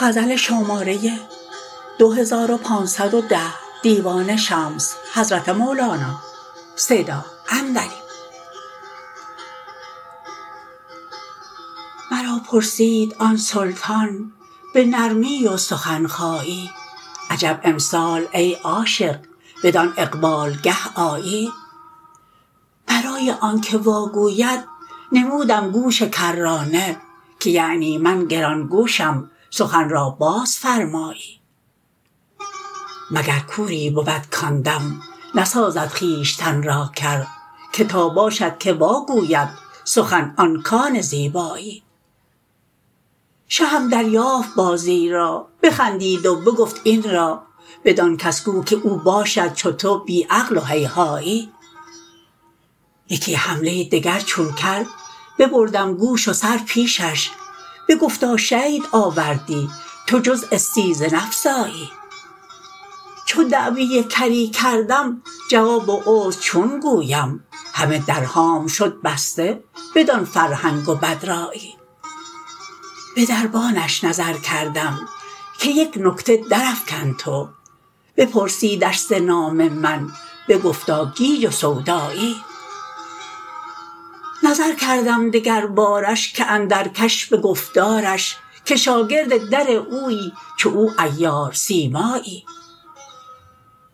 مرا پرسید آن سلطان به نرمی و سخن خایی عجب امسال ای عاشق بدان اقبالگه آیی برای آنک واگوید نمودم گوش کرانه که یعنی من گران گوشم سخن را بازفرمایی مگر کوری بود کان دم نسازد خویشتن را کر که تا باشدکه واگوید سخن آن کان زیبایی شهم دریافت بازی را بخندید و بگفت این را بدان کس گو که او باشد چو تو بی عقل و هیهایی یکی حمله دگر چون کر ببردم گوش و سر پیشش بگفتا شید آوردی تو جز استیزه نفزایی چو دعوی کری کردم جواب و عذر چون گویم همه درهام شد بسته بدان فرهنگ و بدرایی به دربانش نظر کردم که یک نکته درافکن تو بپرسیدش ز نام من بگفتا گیج و سودایی نظر کردم دگربارش که اندر کش به گفتارش که شاگرد در اویی چو او عیار سیمایی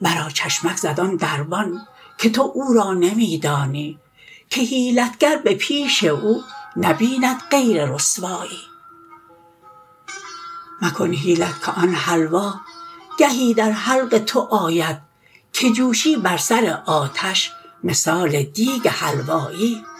مرا چشمک زد آن دربان که تو او را نمی دانی که حیلت گر به پیش او نبیند غیر رسوایی مکن حیلت که آن حلوا گهی در حلق تو آید که جوشی بر سر آتش مثال دیگ حلوایی